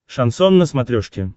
шансон на смотрешке